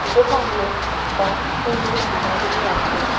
দোকানে একটা পুরুষ দাঁড়িয়ে আছে।